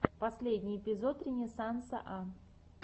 последний эпизод ренессанса а